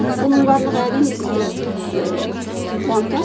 оның барлығы әрине бізді қуантады